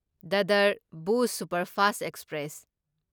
Dadar Bhuj superfast express